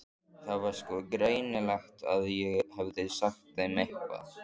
Það var sko greinilegt að ég hefði sagt þeim eitthvað.